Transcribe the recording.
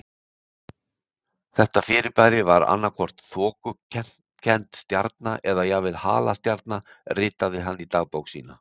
Þetta fyrirbæri var annað hvort þokukennd stjarna eða jafnvel halastjarna ritaði hann í dagbók sína.